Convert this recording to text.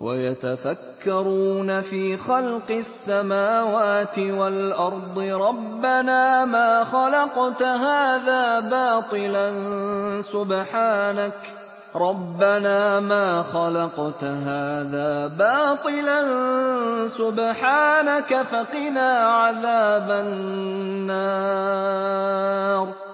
وَيَتَفَكَّرُونَ فِي خَلْقِ السَّمَاوَاتِ وَالْأَرْضِ رَبَّنَا مَا خَلَقْتَ هَٰذَا بَاطِلًا سُبْحَانَكَ فَقِنَا عَذَابَ النَّارِ